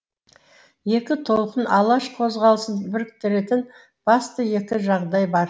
екі толқын алаш қозғалысын біріктіретін басты екі жағдай бар